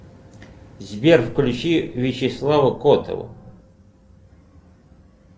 сбер включи вячеслава котова